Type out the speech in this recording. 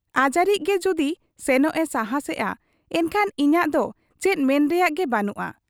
ᱟᱡᱟᱨᱤᱡ ᱜᱮ ᱡᱩᱫᱤ ᱥᱮᱱᱚᱜ ᱮ ᱥᱟᱦᱟᱸᱥᱮᱜ ᱟ, ᱮᱱᱠᱷᱟᱱ ᱤᱧᱟᱹᱜ ᱫᱚ ᱪᱮᱫ ᱢᱮᱱ ᱨᱮᱱᱟᱜ ᱜᱮ ᱵᱟᱹᱱᱩᱜ ᱟ ᱾